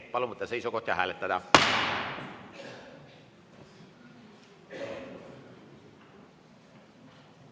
Palun võtta seisukoht ja hääletada!